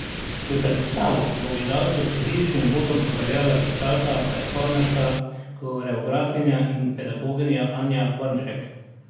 V predstavo bo gledalce s Fizičnim uvodom popeljala plesalka, performerka, koreografinja in pedagoginja Anja Bornšek.